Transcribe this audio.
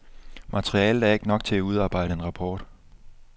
Materialet er ikke nok til at udarbejde en rapport.